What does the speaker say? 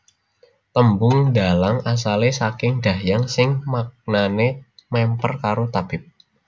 Tembung dhalang asale saking Dahyang sing maknane mèmper karo tabib